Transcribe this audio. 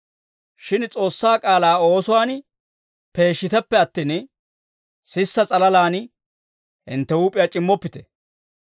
Shin S'oossaa k'aalaa oosuwaan peeshshiteppe attin, sisa s'alalaan hintte huup'iyaa c'immoppite.